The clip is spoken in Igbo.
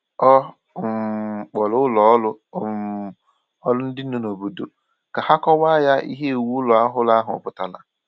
Ọ um kpọrọ ụlọ um ọrụ dị n’obodo ka ha kọwaa ya ihe iwu ụlọ ọhụrụ ahụ pụtara